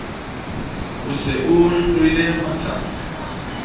o se o hlwele matsatsa